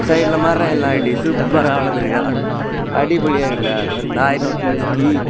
சைடுல மரம் எல்லாம் எப்டி சூப்பரா வளந்திருக்கா அடிபோலியா இருக்தா நாய் ரோட்ல நிக்கி.